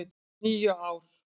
. níu ár!